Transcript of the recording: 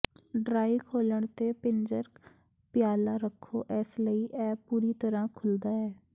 dry ਖੋਲ੍ਹਣ ਤੇ ਪਿੰਜਰ ਪਿਆਲਾ ਰੱਖੋ ਇਸ ਲਈ ਇਹ ਪੂਰੀ ਤਰ੍ਹਾਂ ਖੁੱਲ੍ਹਦਾ ਹੈ